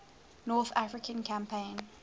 north african campaign